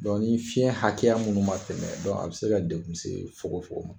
ni fiɲɛn hakɛya munnu ma tɛmɛ a be se ka dekun se fokon fokon ma.